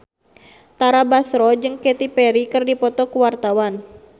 Tara Basro jeung Katy Perry keur dipoto ku wartawan